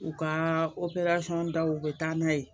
U ka da u bɛ taa n'a ye